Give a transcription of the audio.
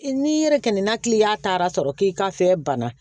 N'i yɛrɛ kɛnɛ na kiliyan taara sɔrɔ k'i ka fɛn banna